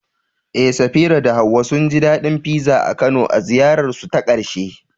Eh, Safira da Hawwa sun ji daɗin pizza a Kano a ziyararsu ta ƙarshe.